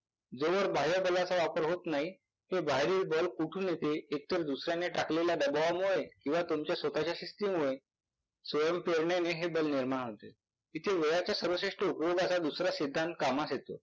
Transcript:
जोवर बाह्यबलाचा वापर होत नाही. तो बाहेरील बल कुठून येते, एकतर दुसर्याने टाकलेल्या दबावामुळे किंवा तुमच्या स्वतःच्या शिस्तीमुळे. स्वयंप्रेरणेने हे बल निर्माण होते. इथे वेळाच्या सर्वश्रेष्ठ उपयोगाचा दुसरा सिद्धांत कामाला येतो.